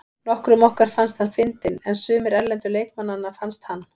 Nokkrum okkar fannst hann fyndinn en sumir erlendu leikmannanna fannst hann.